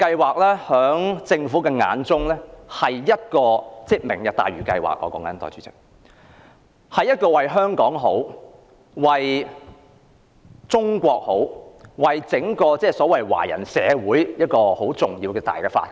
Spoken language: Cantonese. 在政府眼中，"明日大嶼"計劃不止為香港好，也為中國好，更是為整個華人社會好的重大發展。